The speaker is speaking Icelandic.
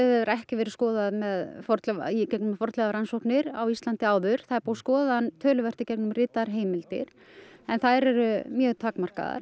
hefur ekki verið skoðaður í gegnum fornleifarannsóknir á Íslandi áður það er búið að skoða hann töluvert í gegnum ritaðar heimildir en þær eru mjög takmarkaðar